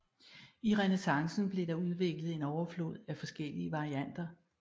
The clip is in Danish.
I renæssancen blev der udviklet en overflod af forskellige varianter